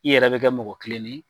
I yɛrɛ bɛ kɛ mɔgɔ kilennen ye.